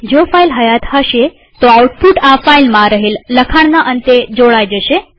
જો ફાઈલ હયાત હશે તોઆઉટપુટ આ ફાઈલમાં રહેલ લખાણના અંતે જોડાઈ જશે